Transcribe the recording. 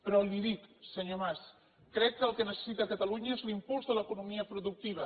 però li dic senyor mas crec que el que necessita catalunya és l’impuls de l’economia productiva